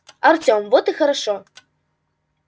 артём вот и хорошо